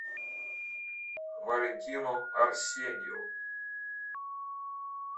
валентину арсеньеву